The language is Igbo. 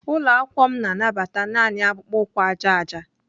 Ụlọ akwụkwọ m na-anabata naanị akpụkpọ ụkwụ aja aja.